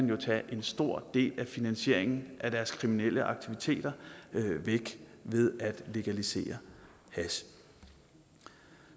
jo fjerne en stor del af finansieringen af deres kriminelle aktiviteter ved at legalisere hash